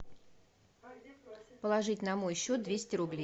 положить на мой счет двести рублей